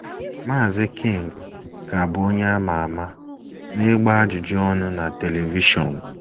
Maazị King ka bụ onye a ma ama n’ịgba ajụjụ ọnụ na telivishọn.